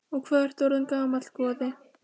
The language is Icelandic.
Og hvað ertu orðinn gamall, góði?